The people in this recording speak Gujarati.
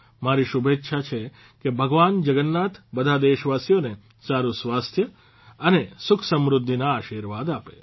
મારી શુભેચ્છા છે કે ભગવાન જગન્નાથ બધા દેશવાસીઓને સારૂં સ્વાસ્થ્ય અને સુખ સમૃદ્ધિના આશિર્વાદ આપે